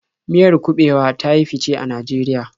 Miyar kuɓewa ta yi fice a Najeriya.